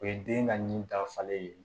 O ye den ka nin dafalen ye